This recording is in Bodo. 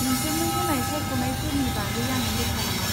नोंसोरनो होनाय सायख'नायफोरनि बागै आं रोखा नङा।